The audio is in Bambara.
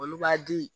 Olu b'a di